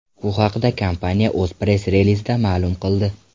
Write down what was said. Bu haqda kompaniya o‘z press-relizida ma’lum qildi .